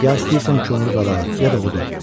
Ya istəyirsən kömür qala, ya da odun.